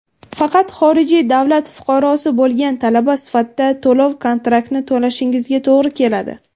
Faqat xorijiy davlat fuqarosi bo‘lgan talaba sifatida to‘lov-kontraktni to‘lashingizga to‘g‘ri keladi.